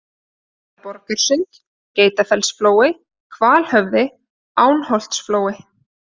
Efra-Borgarsund, Geitafellsflói, Hvalhöfði, Ánholtsflói